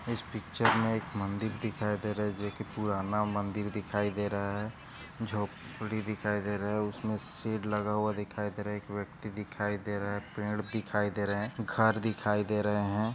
इस पिक्चर मैं मंदिर दिखाई दे रहा है जो की पुराना मदिर दिखाई दे रहा है झोपडी दिखाई दे रही है उसमे सीड लगा हुआ दिखाई दे रहा है एक व्यक्ती दिखाई दे रहा है पेड़ दिखाई दे रहे है घर दिखाई दे रहे है।